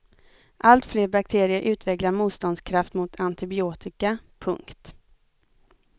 Allt fler bakterier utvecklar motståndskraft mot antibiotika. punkt